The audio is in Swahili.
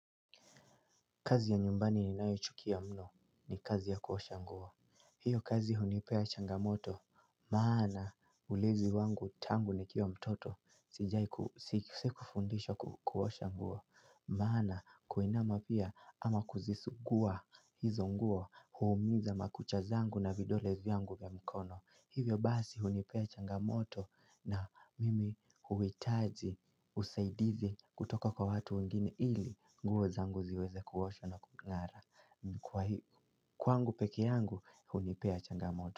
Kazi ya nyumbani ninayochukia mno ni kazi ya kuosha nguo. Hiyo kazi hunipea changamoto, maana ulezi wangu tangu nikiwa mtoto, sijai kufundishwa kuosha nguo. Maana kuinama pia ama kuzisugua hizo nguo huumiza makucha zangu na vidole vyangu vya mkono. Hivyo basi hunipea changamoto na mimi huhitaji usaidizi kutoka kwa watu wengine ili nguo zangu ziweze kuoshwa na kungara. Kwangu peke yangu hunipea changamoto.